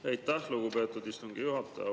Aitäh, lugupeetud istungi juhataja!